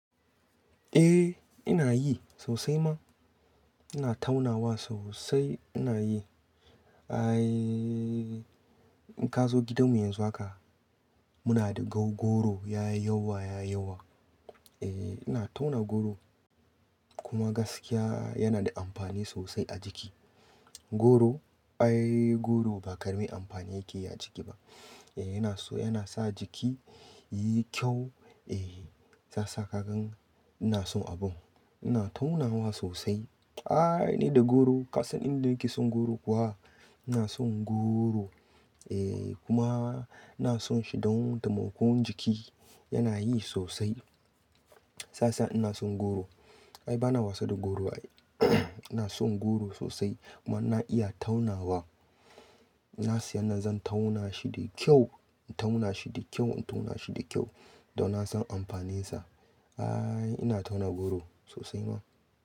Eh ina yi sosai ma. Ina taunawa sosai ina yi. Ai, in ka zo gidanmu yanzu haka muna da gogoro ya yi yawa, ya yi yawa. Eh ina tauna goro kuma gaskiya yana da amfani sosai a jiki. Goro, ai goro ba ƙaramin amfani yake yi a jiki ba. Eh yana so, yana sa jiki yiyi kyau. Eh za sa ka gan ina son abun. Ina taunawa sosai. Ai ni da goro ka san inda nake son goro kuwa? Ina son goro. Eh kuma ina son shi don damuƙo jiki yana yi sosai. Saisa ina son goro. Ai bana wasa da goro ai ina son goro sosai kuma na iya taunawa. Na siyan nan zan tauna shi da kyau, in tauna shi da kyau, in tauna shi da kyau don na san amfaninsa. Ai ina tauna goro sosai ma.